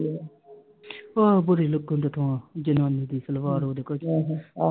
ਹਾਂ ਬੁਰੀ ਲਗਨ ਦੀ ਜਨਾਨੀ ਦੀ ਸਲਵਾਰ I